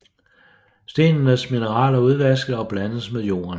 Stenenes mineraler udvaskes og blandes med jorden